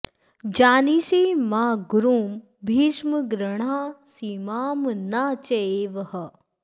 जानीषे मां गुरुं भीष्म गृह्णासीमां न चैव ह